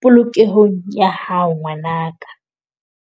polokehong ya hao ngwanaka.